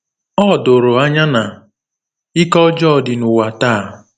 Ọ doro anya na ike ọjọọ dị n’ụwa taa.